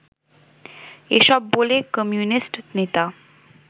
এসব বলে কমিউনিস্ট নেতা